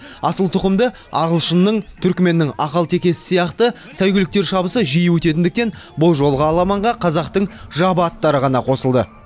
асыл тұқымды ағылшынның түркіменнің ақалтекесі сияқты сәйгүліктер шабысы жиі өтетіндіктен бұл жолғы аламанға қазақтың жабы аттары ғана қосылды